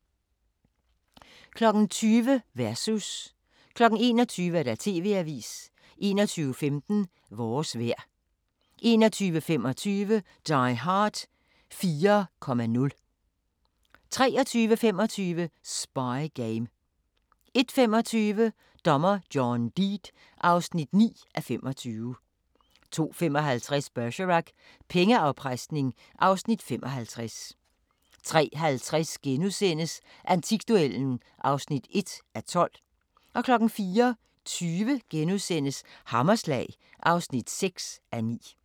20:00: Versus 21:00: TV-avisen 21:15: Vores vejr 21:25: Die Hard 4.0 23:25: Spy game 01:25: Dommer John Deed (9:25) 02:55: Bergerac: Pengeafpresning (Afs. 55) 03:50: Antikduellen (1:12)* 04:20: Hammerslag (6:9)*